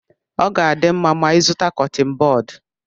Ọ ga-adị mma ma ịzụta Kọttin bọd